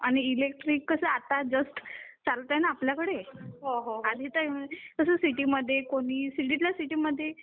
आणि इलेक्ट्रिक कसं आता जास्त चालतं ना आपल्याकडे आणि ते कसं सिटी मध्ये कोणी सिटितल्या सिटी मध्ये